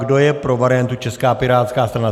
Kdo je pro variantu Česká pirátská strana.